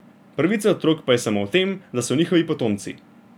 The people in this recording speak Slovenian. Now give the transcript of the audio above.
Pravica otrok pa je samo v tem, da so njihovi potomci.